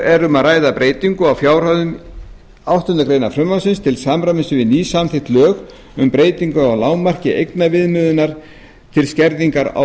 um að ræða breytingar á fjárhæðum áttundu greinar frumvarpsins til samræmis við nýsamþykkt lög um breytingu á lágmarki eignaviðmiðunar til skerðingar á